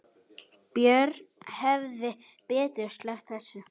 Björn hefði betur sleppt þessu.